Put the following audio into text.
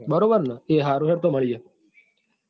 બરોબર ને એ હારું હેડ તો મળીયે તો.